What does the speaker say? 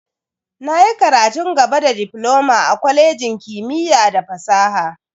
Na yi karatun gaba da difloma a kwalejin kimiyya da fasaha.